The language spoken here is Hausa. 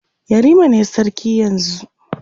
yarima ne sarki yanzun